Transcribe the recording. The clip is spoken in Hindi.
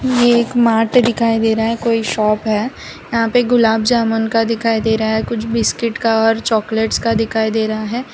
ये एक मार्ट दिखाई दे रहा है कोई शॉप है यहां पे गुलाब जामुन का दिखाई दे रहा है कुछ बिस्किट का और चॉकलेट्स का दिखाई दे रहा है।